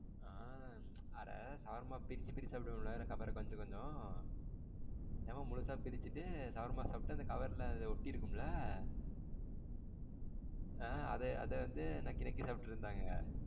ஆ அட shawarma பிரிச்சி பிரிச்சி சப்டுவோம்லா? cover கொஞ்சம் கொஞ்சம் எங்க அம்மா முழுசா பிரிச்சிட்டு shawarma சாப்ட்டு அந்த cover ல ஒட்டி இருக்கும்லா? ஆ உம் அத வந்து நாக்கி நாக்கி சாப்ட்டு இருந்தாங்க.